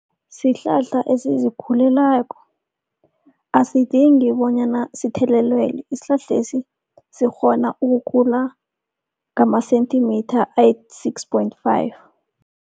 Sihlahla esizikhulelako, asidingi bonyana sithelelelwe. Isihlahlesi sikghona ukukhula ngama-centimetre ayi-six point five.